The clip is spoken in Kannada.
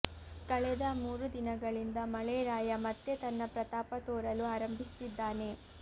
ಕಳೆದ ಮೂರು ದಿನಗಳಿಂದ ಮಳೆರಾಯ ಮತ್ತೆ ತನ್ನ ಪ್ರತಾಪ ತೋರಲು ಆರಂಭಿಸಿದ್ದಾನೆ